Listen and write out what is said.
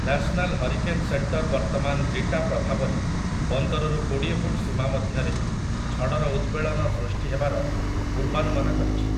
National hurricane centre ବର୍ତ୍ତମାନ Rita ପ୍ରଭାବରେ ପନ୍ଦରରୁ କୋଡ଼ିଏ ଫୁଟ୍ ସୀମା ମଧ୍ୟରେ ଝଡ଼ର ଉଦ୍‌ବେଳନ ସୃଷ୍ଟି ହେବାର ପୂର୍ବାନୁମାନ କରିଛି ।